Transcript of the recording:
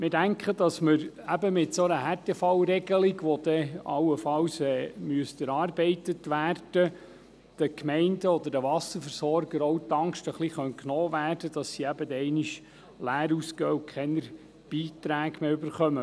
Wir denken, dass mit einer Härtefallregelung, die allenfalls noch erarbeitet werden muss, den Gemeinden und den Wasserversorgern die Angst genommen werden könnte, leer auszugehen und keine Beiträge zu erhalten.